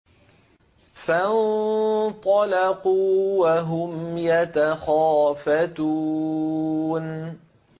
فَانطَلَقُوا وَهُمْ يَتَخَافَتُونَ